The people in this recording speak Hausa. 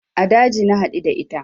A daji na haɗu da ita